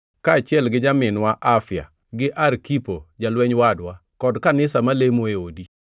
kaachiel gi nyaminwa Afia gi Arkipo jalweny wadwa, kod kanisa malemo e odi: